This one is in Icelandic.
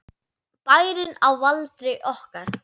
Bærinn á valdi okkar!